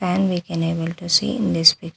And we can able to see in this pic --